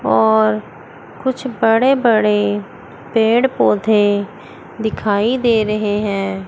और कुछ बड़े बड़े पेड़ पौधे दिखाई दे रहे हैं।